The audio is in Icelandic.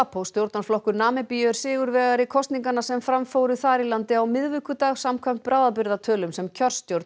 SWAPO stjórnarflokkur Namibíu er sigurvegari kosninganna sem fram fóru þar í landi á miðvikudag samkvæmt bráðabirgðatölum sem kjörstjórn